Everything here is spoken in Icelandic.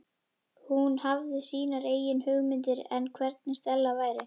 Hún hafði sínar eigin hugmyndir um hvernig Stella væri.